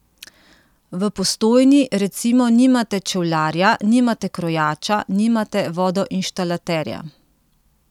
V Postojni recimo nimate čevljarja, nimate krojača, nimate vodoinštalaterja ...